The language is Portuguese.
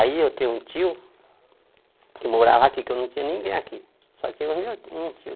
Aí eu tenho um tio que morava aqui, que eu não tinha ninguém aqui, só tinha um tio.